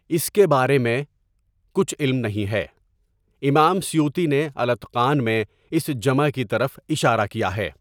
اس کے بارے میں کچھ علم نہیں ہے امام سیوطی نے الاتقان میں اس جمع کی طرف اشارہ کیا ہے.